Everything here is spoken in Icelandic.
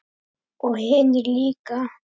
Og hinir líka.